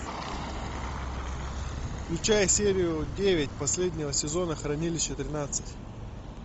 включай серию девять последнего сезона хранилище тринадцать